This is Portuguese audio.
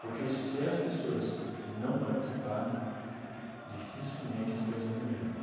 Porque, se as pessoas não participarem, dificilmente as coisas vão mudar.